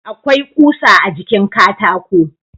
Akwai ƙusa a jikin katako.